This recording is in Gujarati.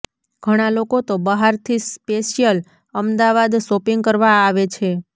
ઘણા લોકો તો બહારથી સ્પેસિયલ અમદાવાદ શોપિંગ કરવા આવે છે